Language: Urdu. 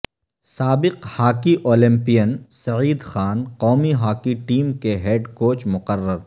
سابق ہاکی اولمپیئن سعید خان قومی ہاکی ٹیم کے ہیڈ کوچ مقرر